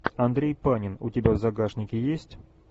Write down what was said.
андрей панин у тебя в загашнике есть